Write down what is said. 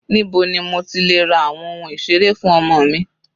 Níbo ni mo ti lè ra àwọn ohun ìseré fún ọmọ mi?